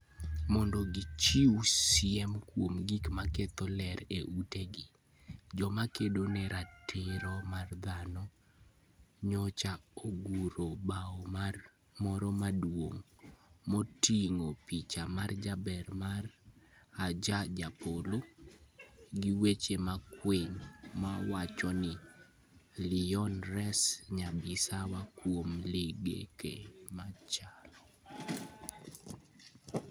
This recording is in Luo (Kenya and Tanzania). Mondo gichiw siem kuom gik ma ketho ler e utegi, joma kedo ne ratiro mar dhano, nyocha oguro bao moro maduong ' moting'o picha ma jaber mar Ajoh Japolo, gi weche makwiny mawacho ni: "Leon, res Nyabisawa kuom ligek mach! â€" gi